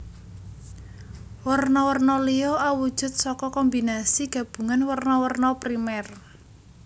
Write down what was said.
Werna werna liya awujud saka kombinasi gabungan werna werna primer